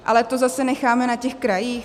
Ale to zase necháme na těch krajích?